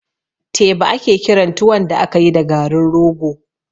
Teba ake kiran tuwon da akayi da garin rogo